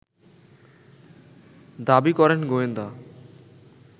দাবি করেন গোয়েন্দা